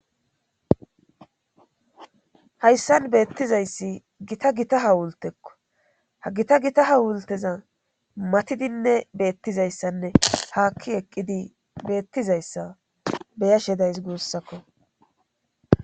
hayssan beettizayssi gita gita hawultekko ha gita gita hawulteza matidinne beettizayssanne haakki eqqidi beettizayssa beya shedays guussakko